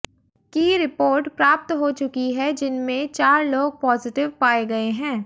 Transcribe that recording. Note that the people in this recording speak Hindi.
की रिपोर्ट प्राप्त हो चुकी है जिनमें चार लोग पॉजिटिव पाए गए हैं